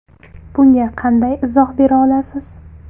Bunga qanday izoh bera olasiz?